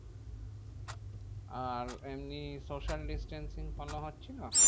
আর এমনি social distancing follow হচ্ছিলো?